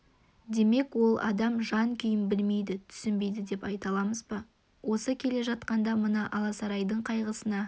демек ол адам жан-күйін білмейді түсінбейді деп айта аламыз ба осы келе жатқанында мына алсайлардың қайғысына